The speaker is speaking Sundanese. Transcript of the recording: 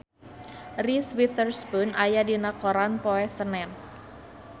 Reese Witherspoon aya dina koran poe Senen